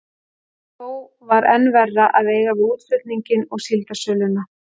En þó var enn verra að eiga við útflutninginn og síldarsöluna.